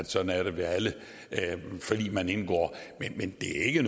sådan ved alle forlig man indgår men det er ikke